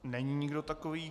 Není nikdo takový.